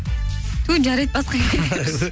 ту жарайды басқа